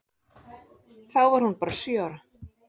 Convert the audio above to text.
Þá var hún bara sjö ára.